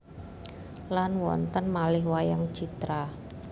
Lan wonten malih wayang citra